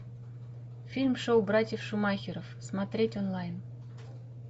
фильм шоу братьев шумахеров смотреть онлайн